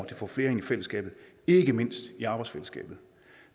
det får flere ind i fællesskabet ikke mindst i arbejdsfællesskabet